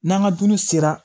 N'an ka dumuni sera